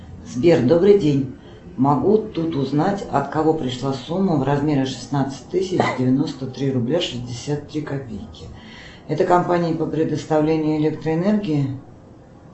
сбер добрый день могу тут узнать от кого пришла сумма в размере шестнадцать тысяч девяносто три рубля шестьдесят три копейки это компания по предоставлению электроэнергии